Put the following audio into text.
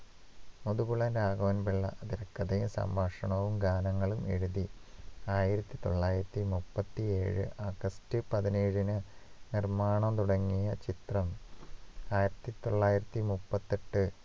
മുതുകുളം രാഘവൻപിള്ള തിരക്കഥയും സംഭാഷണവും ഗാനങ്ങളും എഴുതി ആയിരത്തിതൊള്ളായിരത്തിമുപ്പത്തിയേഴ് ആഗസ്ത് പതിനേഴിന് നിർമാണം തുടങ്ങിയ ചിത്രം ആയിരത്തിതൊള്ളായിരത്തിമുപ്പത്തിയെട്ട്